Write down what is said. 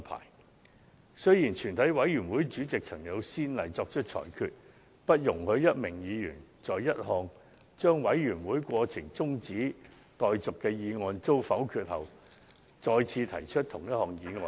可是，以往曾有先例，全體委員會主席作出裁決，不容許一名議員在一項將委員會過程中止待續的議案遭否決後，再次提出同一項議案。